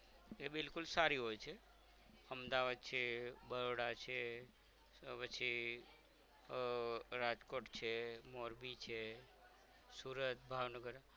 એ બિલકુલ સારી હોય છે અમદાવાદ છે બરોડા છે પછી આહ રાજકોટ છે મોરબી છે સુરત ભાવનગર